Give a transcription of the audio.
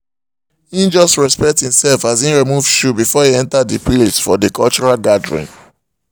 he just respect himself as e remove shoe before e enter the place for the cultural gathering